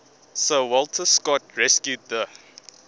sir walter scott rescued the